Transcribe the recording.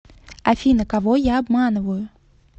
афина кого я обманываю